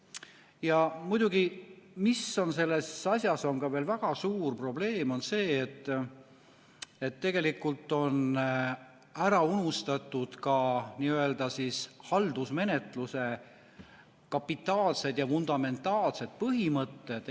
Ja muidugi, mis on selles asjas veel väga suur probleem, on see, et tegelikult on ära unustatud ka n‑ö haldusmenetluse kapitaalsed ja fundamentaalsed põhimõtted.